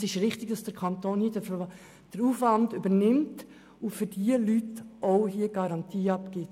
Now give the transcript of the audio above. Es ist richtig, dass der Kanton den Aufwand übernimmt und für diese Leute eine Garantie abgibt.